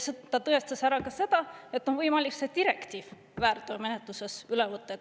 Ta tõestas ära ka seda, et on võimalik see direktiiv väärteomenetluses üle võtta.